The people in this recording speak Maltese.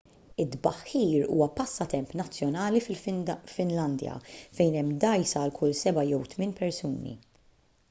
it-tbaħħir huwa passatemp nazzjonali fil-finlandja fejn hemm dgħajsa għal kull seba' jew tmien persuni